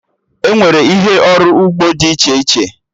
Enwere ihe ọrụ ugbo dị iche iche